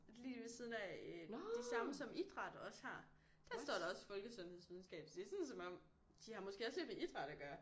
Lige ved siden af øh de samme som idræt også har dér står der også folkesundhedsvidenskab så det er sådan som om de har måske også lidt med idræt at gøre